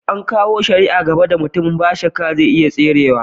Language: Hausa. An kawo shari'a da yawa gaba da mutumin, n'na shakka zai iya tserewa.